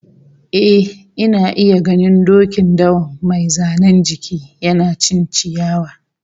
Eh, ina iya ganin dokin dawan mai zanen jiki, yana cin ciyawa